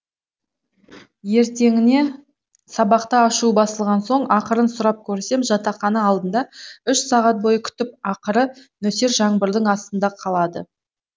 ертеңіне сабақта ашуы басылған соң ақырын сұрап көрсем жатақхана алдында үш сағат бойы күтіп ақыры нөсер жаңбырдың астында қалады